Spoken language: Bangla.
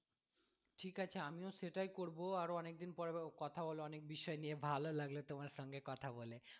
ঠিক আছে আমিও সেটাই করবো আরও অনেকদিন পর কথা হলো অনেক বিষয় নিয়ে ভালো লাগলো তোমার সঙ্গে কথা বলে